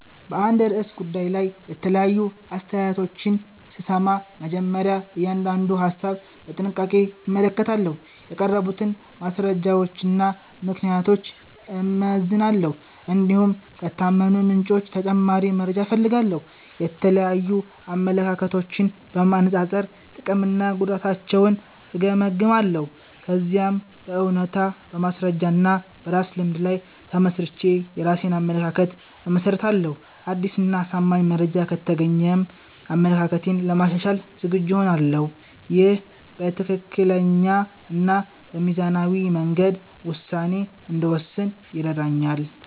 በአንድ ርዕሰ ጉዳይ ላይ የተለያዩ አስተያየቶችን ስሰማ፣ መጀመሪያ እያንዳንዱን ሀሳብ በጥንቃቄ እመለከታለሁ። የቀረቡትን ማስረጃዎችና ምክንያቶች እመዝናለሁ፣ እንዲሁም ከታመኑ ምንጮች ተጨማሪ መረጃ እፈልጋለሁ። የተለያዩ አመለካከቶችን በማነጻጸር ጥቅምና ጉዳታቸውን እገመግማለሁ። ከዚያም በእውነታ፣ በማስረጃ እና በራሴ ልምድ ላይ ተመስርቼ የራሴን አመለካከት እመሰርታለሁ። አዲስ እና አሳማኝ መረጃ ከተገኘም አመለካከቴን ለማሻሻል ዝግጁ እሆናለሁ። ይህ በትክክለኛ እና በሚዛናዊ መንገድ ውሳኔ እንድወስን ይረዳኛል።